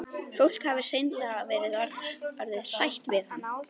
Fólk hafi hreinlega verið orðið hrætt við hann.